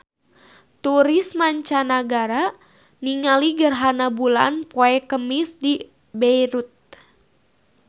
Turis mancanagara keur ningali gerhana bulan poe Kemis di Beirut